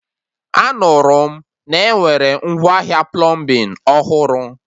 Anụrụ m na-enwere ngwaahịa plọmbin ọhụrụ